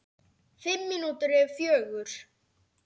Fimm mínútur yfir fjögur.